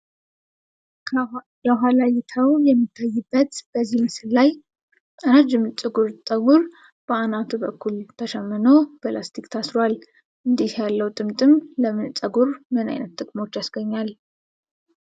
የኋላ እይታው በሚታይበት በዚህ ምስል ላይ፣ ረጅም ጥቁር ጠጕር በአናቱ በኩል ተሸምኖ በላስቲክ ታስሯል። እንዲህ ያለው ጥምጥም ለፀጉር ምን ዓይነት ጥቅሞች ያስገኛል?